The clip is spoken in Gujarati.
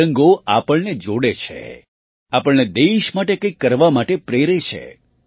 તિરંગો આપણને જોડે છે આપણને દેશ માટે કંઈક કરવા માટે પ્રેરે છે